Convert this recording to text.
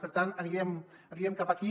per tant anirem cap aquí